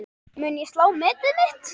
Mun ég slá metið mitt?